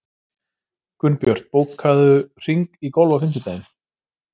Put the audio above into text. Gunnbjört, bókaðu hring í golf á fimmtudaginn.